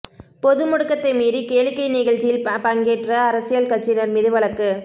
பொது முடக்கத்தை மீறி கேளிக்கை நிகழ்ச்சியில் பங்கேற்ற அரசியல் கட்சியினா் மீது வழக்கு